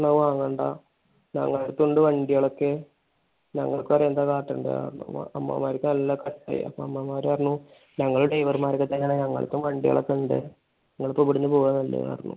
ഓന്റെ അമ്മാവന്മാർ പറഞ്ഞു വാങ്ങണ്ട. ഞങ്ങടെ അടുത്തും ഉണ്ട് വണ്ടികൾ ഒക്കെ. ഞങ്ങൾക്ക് അറിയാം എന്താണ് കാട്ടണ്ടതെന്ന്. അമ്മാവന്മാരൊക്കെ നല്ല കട്ടയായി. അപ്പൊ അമ്മാവന്മാർ പറഞ്ഞു ഞങ്ങളും driver മാരൊക്കെ തന്നെ. ഞങ്ങടെ അടുത്തും വണ്ടികളൊക്കെ ഇണ്ട്. നിങ്ങൾ ഇപ്പൊ ഇവിടുന്ന് പോവലാണ് നല്ലതെന്ന് പറഞ്ഞു.